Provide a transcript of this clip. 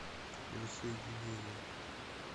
воссоединение